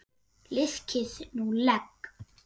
Liðkið nú legg!